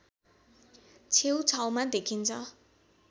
छेउछाउमा देखिन्छ